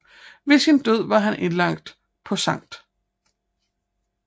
Ved sin død var han indlagt på Sct